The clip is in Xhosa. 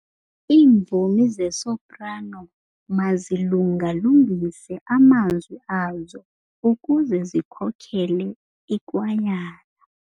Iimvumi zesoprano mazilunga-lungise amazwi azo ukuze zikhokele ikwayala.